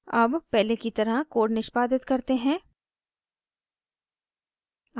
अब पहले की तरह कोड निष्पादित करते हैं